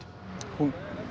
hún